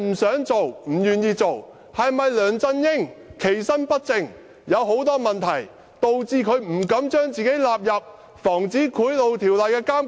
是否梁振英其身不正，有很多問題，以致他不敢把自己納入《防止賄賂條例》的監管？